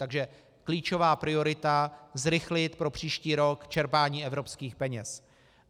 Takže klíčová priorita - zrychlit pro příští rok čerpání evropských peněz.